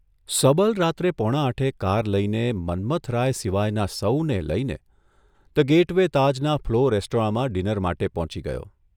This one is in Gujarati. સબલ રાત્રે પોણા આઠે કાર લઇને મન્મથરાય સિવાયનાં સહુને લઇને ધ ગેઇટ વે તાજ' ના' ફ્લો' રેસ્ટોરાંમા ડિનર માટે પહોંચી ગયો.